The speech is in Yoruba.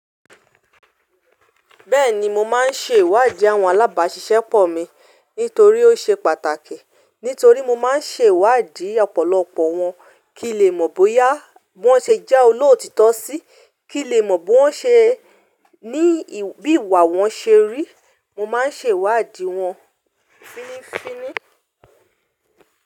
Bẹ́ẹ̀ni mo máa ń ṣe ìwádìí àwọn alábàáṣiṣẹ́pọ̀ mi nítorí ó ṣe pàtàkì. Nítorí mo máa ń ṣe ìwádìí ọ̀pọ̀lọpọ̀ wọn kí n lè mọ̀ bóyá wọ́n ṣe jẹ́ olóòtítọ́ sí, kí n lè mọ̀ bi wọ́n ṣe, ní bí ìwà wọn ṣe rí. Mo máa ń ṣe ìwádìí wọn.